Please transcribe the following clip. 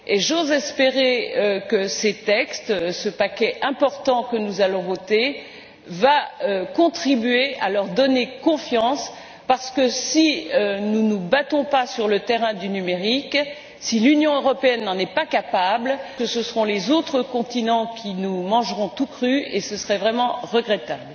J'ose espérer que ces textes, ce paquet important que nous allons voter, vont contribuer à leur donner confiance, parce que, si nous ne nous battons pas sur le terrain du numérique, si l'Union européenne n'en est pas capable, ce seront les autres continents qui nous mangeront tout crus et ce serait vraiment regrettable.